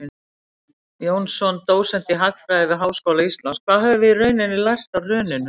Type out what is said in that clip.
Jónsson, dósent í hagfræði við Háskóla Íslands: Hvað höfum við í rauninni lært af hruninu?